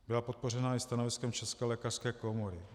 Byla podpořena i stanoviskem České lékařské komory.